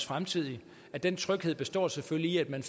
fremtidige og den tryghed består selvfølgelig i at